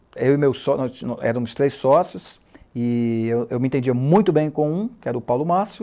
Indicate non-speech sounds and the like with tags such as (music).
eu e meus sócios, (unintelligible) éramos três sócios, e eu me entendia muito bem com um, que era o Paulo Mácio,